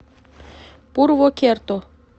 пурвокерто